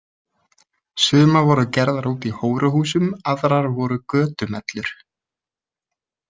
Sumar voru gerðar út í hóruhúsum, aðrar voru götumellur.